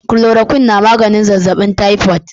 Chloroquine na maganin zazzabin typhoid.